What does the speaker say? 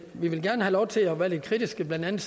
vil gerne have lov til at være lidt kritiske blandt andet